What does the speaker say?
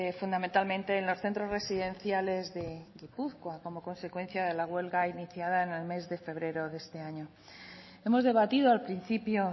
fundamentalmente en los centros residenciales de gipuzkoa como consecuencia de la huelga iniciada en el mes de febrero de este año hemos debatido al principio